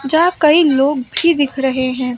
यहां कई लोग भी दिख रहे हैं।